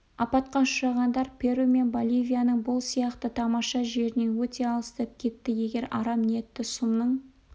апатқа ұшырағандар перу мен боливияның бұл сияқты тамаша жерінен өте алыстап кетті егер арам ниетті сұмның